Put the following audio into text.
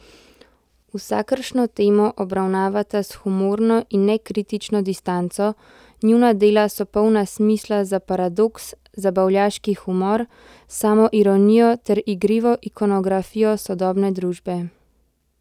Vsakršno temo obravnavata s humorno in ne kritično distanco, njuna dela so polna smisla za paradoks, zabavljaški humor, samoironijo ter igrivo ikonografijo sodobne družbe.